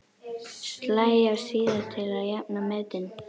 Slæ af síðar til að jafna metin.